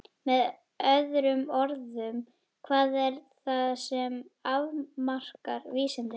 Með öðrum orðum: hvað er það sem afmarkar vísindi?